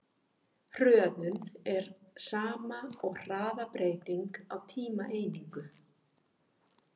Hröðun er sama og hraðabreyting á tímaeiningu.